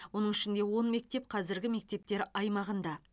оның ішінде он мектеп қазіргі мектептер аймағын